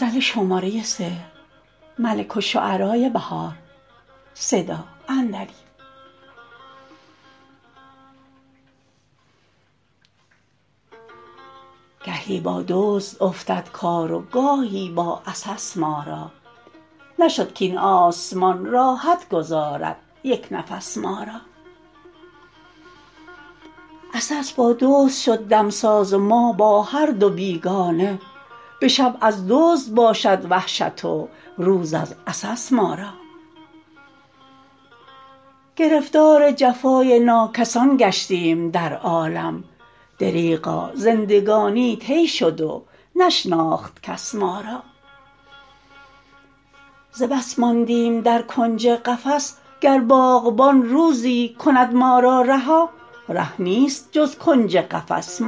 گهی با دزد افتد کار و گاهی با عسس ما را نشد کاین آسمان راحت گذارد یک نفس ما را عسس با دزد شد دمساز و ما با هر دو بیگانه به شب از دزد باشد وحشت و روز از عسس ما را گرفتار جفای ناکسان گشتیم در عالم دریغا زندگانی طی شد و نشناخت کس ما را ز بس ماندیم در کنج قفس گر باغبان روزی کند ما را رها ره نیست جز کنج قفس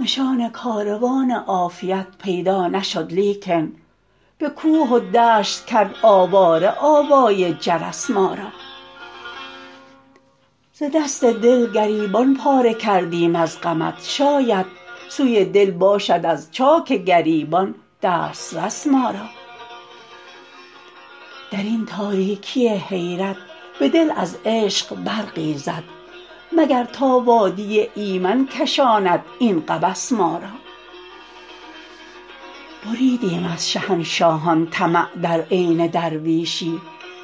ما را نشان کاروان عافیت پیدا نشد لیکن به کوه و دشت کرد آواره آوای جرس ما را ز دست دل گریبان پاره کردیم از غمت شاید سوی دل باشد از چاک گریبان دسترس ما را در این تاریکی حیرت به دل از عشق برقی زد مگر تا وادی ایمن کشاند این قبس ما را بریدیم از شهنشاهان طمع در عین درویشی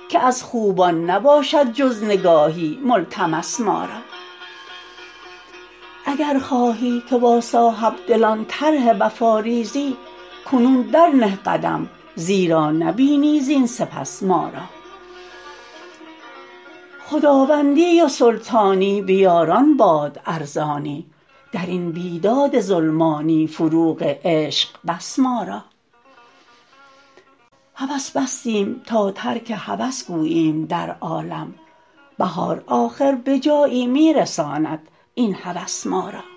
که از خوبان نباشد جز نگاهی ملتمس ما را اگر خواهی که با صاحبدلان طرح وفا ریزی کنون درنه قدم زیرا نبینی زین سپس ما را خداوندی و سلطانی به یاران باد ارزانی درین بیداد ظلمانی فروغ عشق بس ما را هوس بستیم تا ترک هوس گوییم در عالم بهار آخر به جایی می رساند این هوس ما را